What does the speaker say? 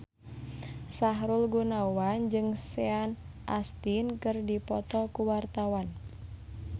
Sahrul Gunawan jeung Sean Astin keur dipoto ku wartawan